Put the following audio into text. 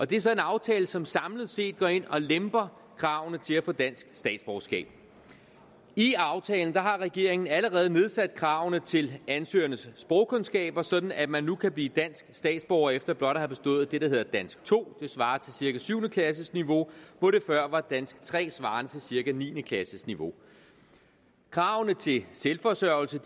det er så en aftale som samlet set går ind og lemper kravene til at få dansk statsborgerskab i aftalen har regeringen allerede nedsat kravene til ansøgernes sprogkundskaber sådan at man nu kan blive dansk statsborger efter blot at have bestået det der hedder dansk to som svarer til cirka syvende klasseniveau hvor det før var dansk tre svarende til cirka niende klasseniveau kravene til selvforsørgelse